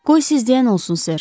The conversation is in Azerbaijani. Qoy siz deyən olsun Ser.